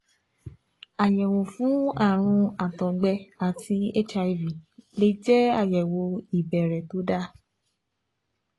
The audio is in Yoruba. Àyẹ̀wò fún ààrùn àtọ̀gbẹ àti HIV lè jẹ́ àyẹ̀wò ìbẹ̀rẹ̀ tó dára